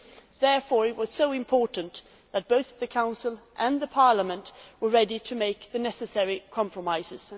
It was therefore so important that both the Council and Parliament were ready to make the necessary compromises.